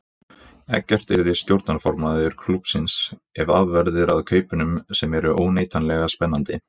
Eggert yrði stjórnarformaður klúbbsins ef af verður að kaupunum sem eru óneitanlega spennandi.